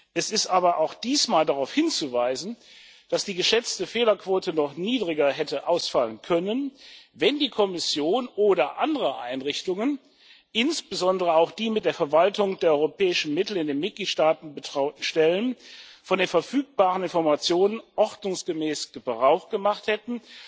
Es ist aber auch diesmal darauf hinzuweisen, dass die geschätzte Fehlerquote noch niedriger hätte ausfallen können, wenn die Kommission oder andere Einrichtungen, insbesondere auch die mit der Verwaltung der europäischen Mittel in den Mitgliedstaaten betrauten Stellen, von den verfügbaren Informationen ordnungsgemäß Gebrauch gemacht hätten,